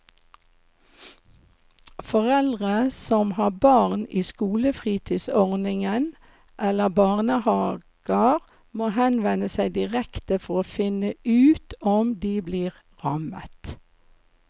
Foreldre som har barn i skolefritidsordning eller barnehaver må henvende seg direkte for å finne ut om de blir rammet.